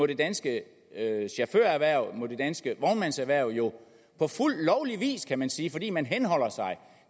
det danske chaufførerhverv og det danske vognmandserhverv på fuld lovlig vis kan man sige fordi man henholder sig